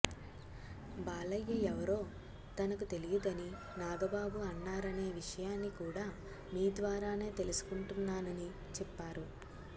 బాలయ్య ఎవరో తనకు తెలియదని నాగబాబు అన్నారనే విషయాన్ని కూడా మీ ద్వారానే తెలుసుకుంటున్నానని చెప్పారు